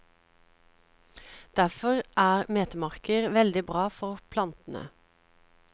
Derfor er metemarker veldig bra for plantene.